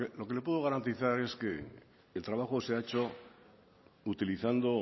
lo que le puedo garantizar es que el trabajo se ha hecho utilizando